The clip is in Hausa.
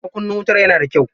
Makunnin wutar yana da kyau.